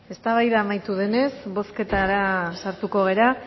eztabaida amaitu denez bozketara sartuko gara